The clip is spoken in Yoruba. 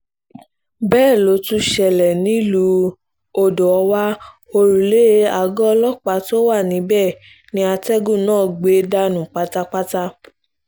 bẹ́ẹ̀ ló tún ṣẹlẹ̀ nílùú odò-ọ̀wá òrùlé aago ọlọ́pàá tó wà níbẹ̀ ni atẹ́gùn náà gbẹ dànù pátápátá